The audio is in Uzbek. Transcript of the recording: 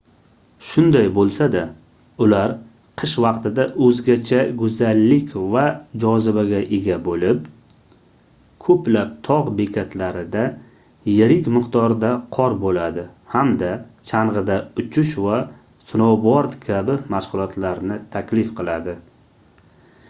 shunday boʻlsa-da ular qish vaqtida oʻzgacha goʻzallik va jozibaga ega boʻlib koʻplab togʻ bekatlarida yirik miqdorda qor boʻladi hamda changʻida uchish va snouboard kabi mashgʻulotlarni taklif qiladi